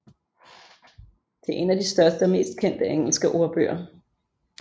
Det er en af de største og mest kendte engelske ordbøger